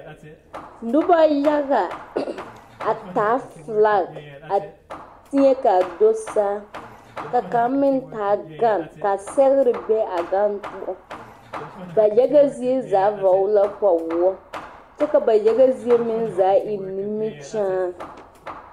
Noba yaga hm a taa felak a teɛ kaa do saa ka kaŋa meŋ taa gane a sɛgre be a gane poɔ ba yaga zie zaa vɔgle la kpawoɔ kyɛ ka ba yaga zie zaa meŋ eŋ nimikyaa.